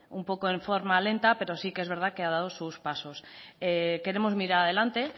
su bueno un poco en forma lenta pero sí que es verdad que ha dado sus pasos queremos mirar adelante